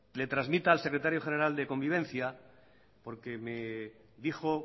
le trasmita al secretario general de convivencia porque me dijo